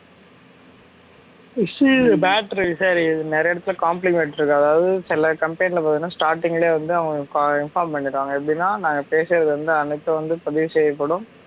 சரி நிறைய இடத்துல compliment இருக்கும் அதாவது சில company ல பாத்தா starting லயே வந்து அவுங்களுக்கு inform பண்ணிடுவாங்க எப்படின்னா நா பேசுறது வந்து அனைத்தும் வந்து பதிவு செய்யப்படும்